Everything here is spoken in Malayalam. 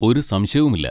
ഒരു സംശയവുമില്ല.